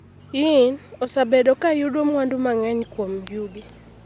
Yin osebedo ka yudo mwandu mang’eny kuom yugi.